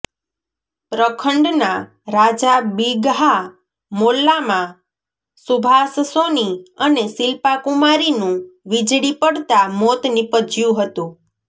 પ્રખંડના રાજા બિગહા મોલ્લામાં સુભાષ સોની અને શિલ્પા કુમારીનું વિજળી પડતાં મોત નિપજ્યું હતું